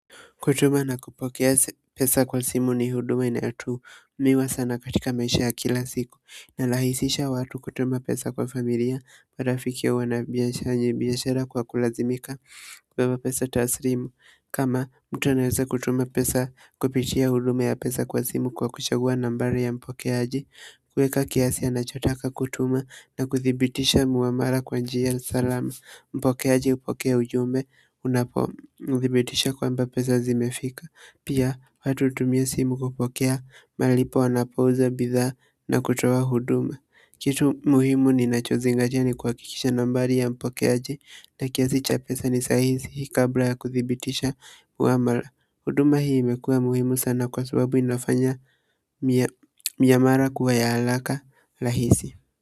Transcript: Kutuma na kupokea pesa kwa simu ni huduma inayo tu miwa sana katika maisha ya kila siku. Inarahisisha watu kutuma pesa kwa familia. Marafiki au wana biashara kwa kulazimika kubeba pesa taslimu. Kama mtu anaweza kutuma pesa kupitia huduma ya pesa kwa simu kwa kuchagua nambari ya mpokeaji. Kuweka kiasi anachotaka kutuma na kuthibitisha mara kwa njia salama. Mpokeaji hupokea ujumbe unapo mthibitisha kwamba pesa zimefika pia watu hutumia simu kupokea malipo anapouza bidhaa na kutoa huduma kitu muhimu ninacho zingatia ni kuhakikisha nambari ya mpokeaji na kiasi cha pesa ni sahihi kabla ya kuthibitisha uamala huduma hii imekuwa muhimu sana kwa sababu inafanya miyamara kuwaya haraka rahisi.